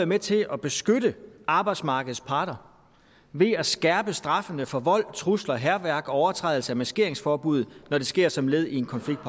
med til at beskytte arbejdsmarkedets parter ved at skærpe straffene for vold trusler og hærværk og overtrædelse af maskeringsforbuddet når det sker som led i en konflikt